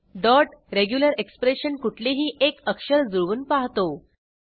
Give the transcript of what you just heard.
dot regular expression कुठलेही एक अक्षर जुळवून पाहतो